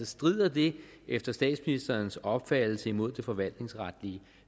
strider det efter statsministerens opfattelse imod det forvaltningsretlige